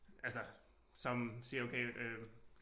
Altså som siger okay øh